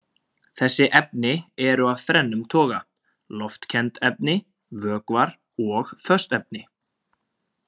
Þessi efni eru af þrennum toga: loftkennd efni, vökvar og föst efni.